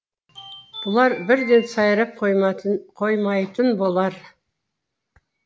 бұлар бірден сайрап қоймайтын болар